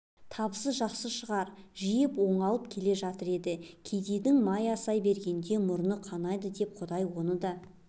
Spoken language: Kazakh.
табысы жақсы шыр жиып оңалып келе жатыр еді кедейдің май асай бергенде мұрыны қанайды деп құдай оны да